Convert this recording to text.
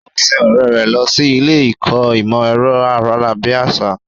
Ó sin ọ̀rẹ́ rẹ̀ lọ sí ilé ìkọ́ ìmọ̀ ẹ̀rọ ayárabíàṣá.